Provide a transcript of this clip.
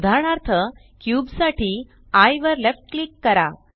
उदाहरणार्थ क्यूब साठी एये वर लेफ्ट क्लिक करा